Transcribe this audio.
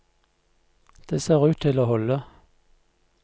Det ser ut til å holde.